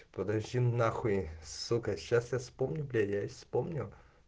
подожди нахуй сука сейчас я вспомню близ помню